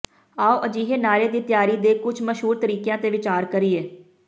ਆਉ ਅਜਿਹੇ ਨਾਰੇ ਦੀ ਤਿਆਰੀ ਦੇ ਕੁਝ ਮਸ਼ਹੂਰ ਤਰੀਕਿਆਂ ਤੇ ਵਿਚਾਰ ਕਰੀਏ